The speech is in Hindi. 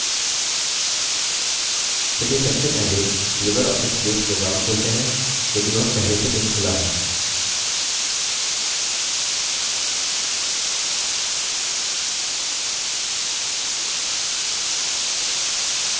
चलिए सबसे पहले libreoffice base program खोलते हैं यदि वह पहले से नही खुला है